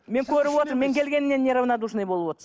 мен көріп отырмын мен келгеннен неравнодушный болып